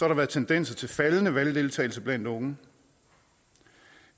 der været tendens til faldende valgdeltagelse blandt unge